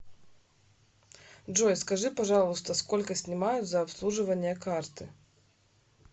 джой скажи пожалуйста сколько снимают за обслуживание карты